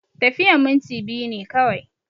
Tafiyan minti biyu ne kawai